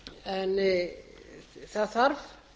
en það þarf